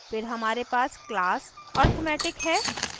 फिर हमारे पास class arithmetic है